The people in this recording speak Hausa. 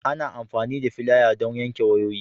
Ana amfani da filaya don yanke wayoyi.